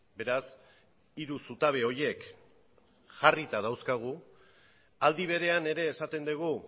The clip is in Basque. beraz hiru zutabe horiek jarrita dauzkagu aldi berean ere esaten dugu